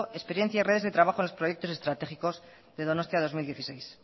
experiencia en redes de trabajo en los proyectos estratégicos de donostia dos mil dieciséis